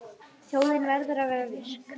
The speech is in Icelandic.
Þjóðin verður að vera virk.